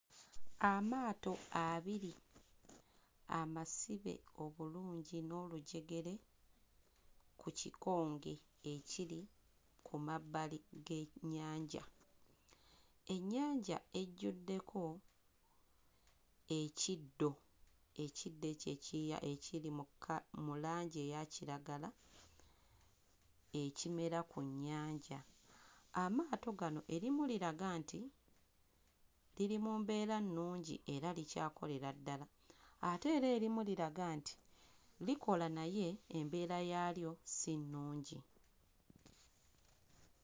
Amaato abiri amasibe obulungi n'olujegere ku kikonge ekiri ku mabbali g'ennyaja. Ennyanja ejjuddeko ekiddo, ekiddo ekyo ekya ekiri mu kka mu langi eya kiragala ekimera ku nnyanja. Amaato gano erimu liraga nti liri mu mbeera nnungi era likyakolera ddala ate era erimu liraga nti likola naye embeera yaalyo si nnungi.